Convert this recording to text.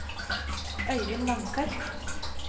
Øyvind Langseth